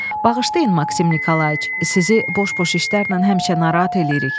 Bağışlayın Maksim Nikolayç, sizi boş-boş işlərlə həmişə narahat eləyirik.